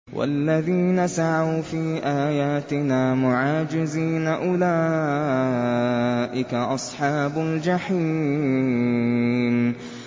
وَالَّذِينَ سَعَوْا فِي آيَاتِنَا مُعَاجِزِينَ أُولَٰئِكَ أَصْحَابُ الْجَحِيمِ